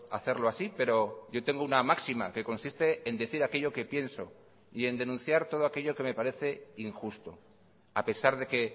hacerlo así pero yo tengo una máxima que consiste en decir aquello que pienso y en denunciar todo aquello que me parece injusto a pesar de que